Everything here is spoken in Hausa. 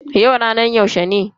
Yau ranar yaushe ne?